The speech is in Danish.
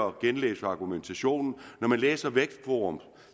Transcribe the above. at genlæse argumentationen i vækstforums